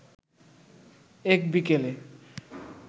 এক বিকেলে